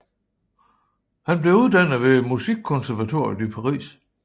Han blev uddannet ved musikkonservatoriet i Paris